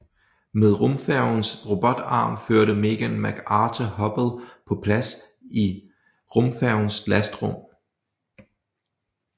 Med rumfærgens robotarm førte Megan McArthur Hubble på plads i rumfærgens lastrum